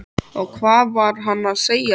Og hvað var hann að segja þér?